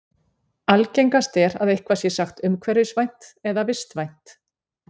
Algengast er að eitthvað sé sagt umhverfisvænt eða vistvænt.